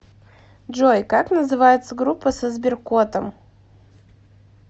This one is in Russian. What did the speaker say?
джой как называется группа со сберкотом